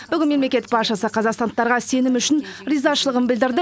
бүгін мемлекет басшысы қазақстандықтарға сенім үшін ризашылығын білдірді